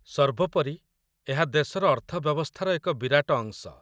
ସର୍ବୋପରି, ଏହା ଦେଶର ଅର୍ଥବ୍ୟବସ୍ଥାର ଏକ ବିରାଟ ଅଂଶ।